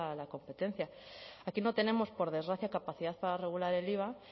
la competencia aquí no tenemos por desgracia capacidad para regular el iva